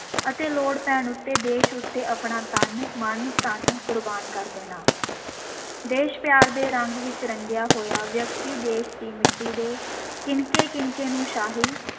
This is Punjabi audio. ਅਤੇ ਲੋੜ ਪੈਣ ਉੱਤੇ ਦੇਸ਼ ਉੱਤੇ ਆਪਣਾ ਤਨ, ਮਨ, ਧਨ ਕੁਰਬਾਨ ਕਰ ਦੇਣਾ, ਦੇਸ਼-ਪਿਆਰ ਦੇ ਰੰਗ ਵਿਚ ਰੰਗਿਆ ਹੋਇਆ ਵਿਅਕਤੀ ਦੇਸ਼ ਦੀ ਮਿੱਟੀ ਦੇ ਕਿਣਕੇ-ਕਿਣਕੇ ਨੂੰ ਸ਼ਾਹੀ